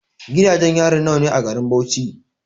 Gidajen yari nawa ne a garin Bauchi?